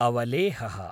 अवलेहः